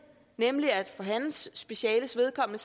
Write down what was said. nemlig at for hans speciales vedkommende